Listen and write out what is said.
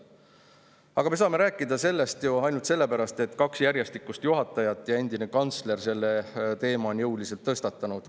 Aga me saame rääkida sellest ju ainult sellepärast, et kaks järjestikust Kaitseväe juhatajat ja endine kantsler on selle teema jõuliselt tõstatanud.